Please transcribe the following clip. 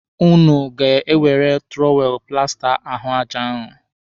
Ụnụ ga-ewere tụrọwelụ plasta ahụ aja ahu.